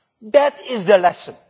That is the lesson.